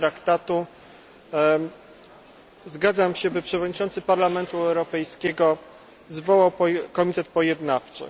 c Traktatu zgadzam się, by Przewodniczący Parlamentu Europejskiego zwołał komitet pojednawczy.